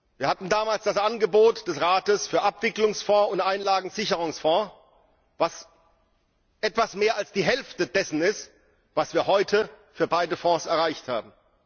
Wir hatten damals das Angebot des Rates für Abwicklungsfonds und Einlagensicherungsfonds, was etwas mehr als die Hälfte dessen ausmachte, was wir heute für beide Fonds erreicht haben.